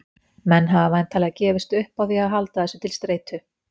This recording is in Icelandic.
Menn hafa væntanlega gefist upp á því að halda þessu til streitu.